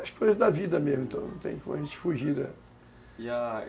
As coisas da vida mesmo, então não tem como a gente fugir dela e a